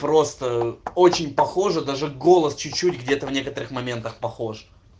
просто очень похожи даже голос чуть-чуть где-то в некоторых моментах похож